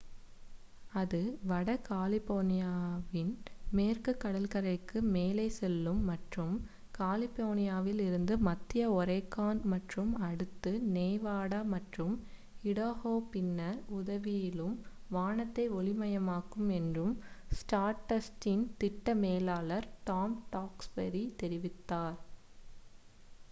அது வட கலிபோர்னியாவின் மேற்குக் கடற்கரைக்கு மேலே செல்லும் மற்றும் கலிபோர்னியாவில் இருந்து மத்திய ஒரேகான் மற்றும் அடுத்து நெவாடா மற்றும் இடாஹோ பின்னர் உதாவிலும் வானத்தை ஒளி மயமாக்கும் என்று ஸ்டார்டஸ்ட்டின் திட்ட மேலாளர் டாம் டாக்ஸ்பரி தெரிவித்தார்